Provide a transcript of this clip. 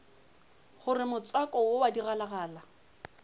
gore motswako wo wa digalagala